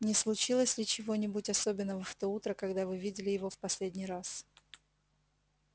не случилось ли чего-нибудь особенного в то утро когда вы видели его в последний раз